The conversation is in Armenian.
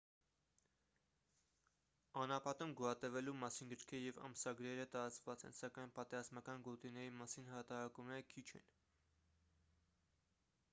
անապատում գոյատևելու մասին գրքերը և ամսագրերը տարածված են սակայն պատերազմական գոտիների մասին հրատարակումները քիչ են